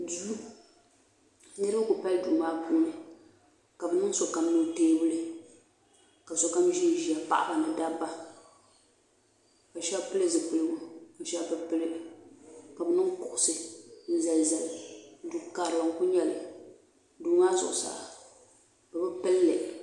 Duu. Niriba kuli pali duu maa puuni. ka bɛ niŋ sokam ni o tiebuli ka sokam ʒin ʒɛya paɣaba ni dabba ka sheba pili zipilgu ka sheba be pili ka bɛ niŋ kuɣisi n zan zali. Du karili n kuli nyeli. Duu maa zuɣu saa bɛ bi pilli.